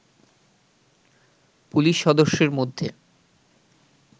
police সদস্যের মধ্যে